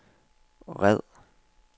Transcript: red